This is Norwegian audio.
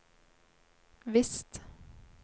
visst